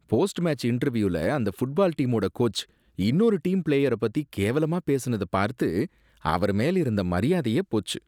Post match இன்டர்வியூல அந்த football டீமோட கோச் இன்னொரு டீம் பிளேயரைப் பத்தி கேவலமா பேசுனதைப் பார்த்து அவரு மேல இருந்த மரியாதையே போச்சு.